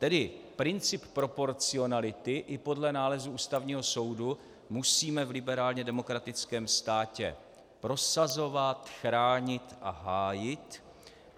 Tedy princip proporcionality i podle nálezu Ústavního soudu musíme v liberálně demokratickém státě prosazovat, chránit a hájit.